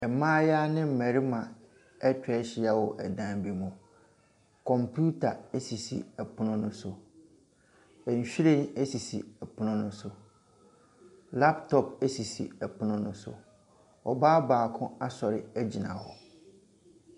Mmayewa ne mmarima ɛtwahyia wɔ ɛdan bi mu. Computer esisi ɛpono no so. Nwhiren esi ɛpono no so. Laptop esisi ɛpono no so. Ɔbaa baako asɔre egyina hɔ.